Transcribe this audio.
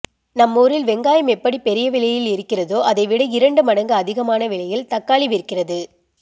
நம்மூரில் வெங்காயம் எப்படி பெரிய விலையில் இருக்கிறேதா அதைவிட இரண்டு மடங்கு அதிமான விலையில் தக்காளி விற்கிறது